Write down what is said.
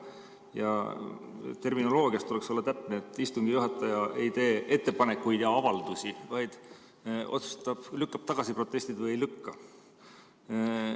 Ja terminoloogias tuleks olla täpne: istungi juhataja ei tee ettepanekuid ja avaldusi, vaid lükkab protestid tagasi või ei lükka.